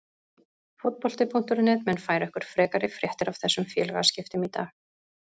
Fótbolti.net mun færa ykkur frekari fréttir af þessum félagaskiptum í dag.